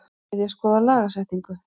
Vilja skoða lagasetningu